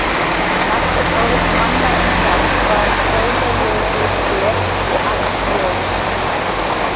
Margt er álit manna um það hvað sólarljósið sé og allt ljós.